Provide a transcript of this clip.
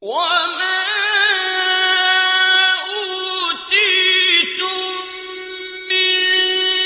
وَمَا أُوتِيتُم مِّن